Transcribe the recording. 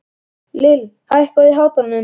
Lill, hækkaðu í hátalaranum.